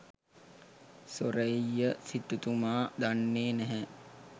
සෝරෙය්‍ය සිටුතුමා දන්නෙ නැහැ